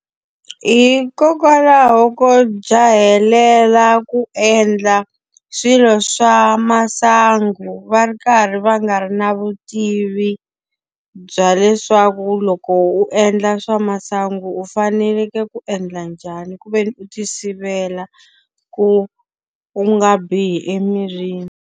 Hikokwalaho ko jahelela ku endla swilo swa masangu va ri karhi va nga ri na vutivi bya leswaku loko u endla swa masangu u faneleke ku endla njhani ku ve ni u ti sivela, ku u nga bihi emirini.